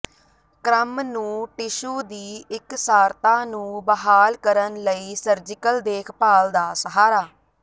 ਕ੍ਰਮ ਨੂੰ ਟਿਸ਼ੂ ਦੀ ਇਕਸਾਰਤਾ ਨੂੰ ਬਹਾਲ ਕਰਨ ਲਈ ਸਰਜੀਕਲ ਦੇਖਭਾਲ ਦਾ ਸਹਾਰਾ